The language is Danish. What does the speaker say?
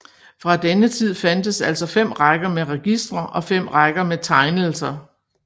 Fra denne tid fandtes altså 5 rækker med registre og 5 rækker med tegnelser